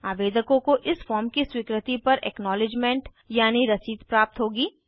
आवेदकों को इस फार्म की स्वीकृति पर एक्नॉलिज्मेंट यानी रसीद प्राप्त होगी